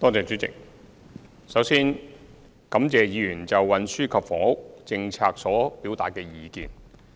主席，首先，感謝議員就運輸及房屋政策所表達的意見。